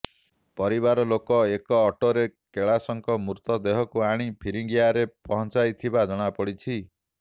ପରିବାର ଲୋକ ଏକ ଅଟୋରେ କେଳାସଙ୍କ ମୃତ ଦେହକୁ ଆଣି ଫିରିଙ୍ଗିଆରେ ପହଞ୍ଚାଇଥିବା ଜଣା ପଡିଛି